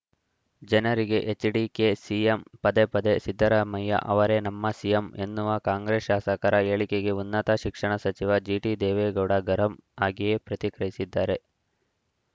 ಜನರಿಗೆ HDK CM ಪದೇ ಪದೆ ಸಿದ್ದರಾಮಯ್ಯ ಅವರೇ ನಮ್ಮ ಸಿಎಂ ಎನ್ನುವ ಕಾಂಗ್ರೆಸ್‌ ಶಾಸಕರ ಹೇಳಿಕೆಗೆ ಉನ್ನತ ಶಿಕ್ಷಣ ಸಚಿವ ಜಿಟಿದೇವೇಗೌಡ ಗರಂ ಆಗಿಯೇ ಪ್ರತಿಕ್ರಿಯಿಸಿದ್ದಾರೆ